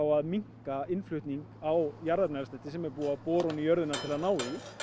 að minnka innflutning á jarðefnaeldsneyti sem er búið að bora ofan í jörðina til þess að ná í